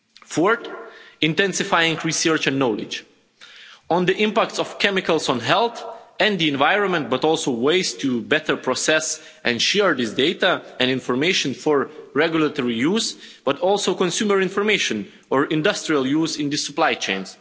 Fourth intensifying research and knowledge on the impacts of chemicals on health and the environment, but also ways to better process and share this data and information for regulatory use, but also for consumer information or industrial use in the supply chain.